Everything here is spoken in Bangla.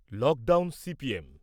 lockdown CPM